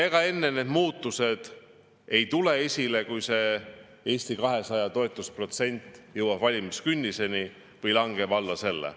Ega enne need muutused esile ei tule, kui Eesti 200 toetusprotsent langeb valimiskünniseni või alla selle.